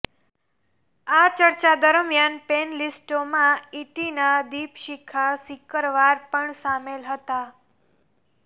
આ ચર્ચા દરમિયાન પેનલિસ્ટોમાં ઇટીના દીપશિખા સિકરવાર પણ સામેલ હતા